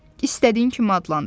İstədiyin kimi adlandır.